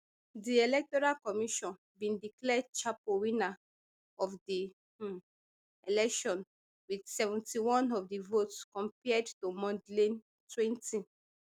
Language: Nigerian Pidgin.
di electoral commission bin declare chapo winner of di um election wit seventy-one of di vote compared to mondlane twenty